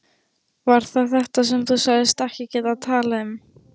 Var það þetta sem þú sagðist ekki geta talað um?